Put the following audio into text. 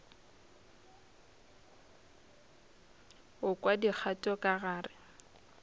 go kwa dikgato ka gare